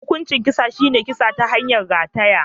Hukuncin kisan shi ne kisa ta hanyar rataya.